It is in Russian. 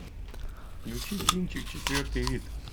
включи кинчик четвертый вид